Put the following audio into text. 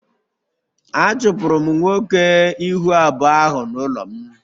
A chụpụrụ m nwoke ihu abụọ ahụ n'ụlọ m